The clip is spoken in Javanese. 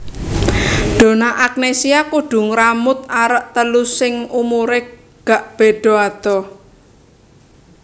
Donna Agnesia kudu ngramut arek telu sing umure gak bedo adoh